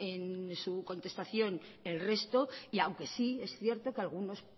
en su contestación el resto y aunque sí es cierto que algunos